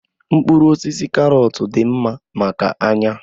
Mkpụrụ osisi karọt dị mma maka anya